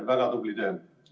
Väga tubli töö!